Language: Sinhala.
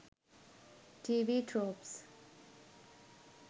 tv tropes